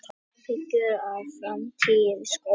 Áhyggjur af framtíð skólanna